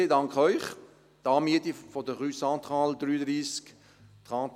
Die Anmiete der Rue Centrale dreiunddreissig – je m’excuse :